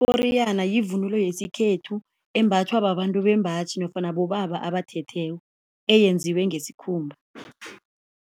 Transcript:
Iporiyana yivunulo yesikhethu embathwa babantu bembaji nofana bobaba abathetheko eyenziwe ngesikhumba.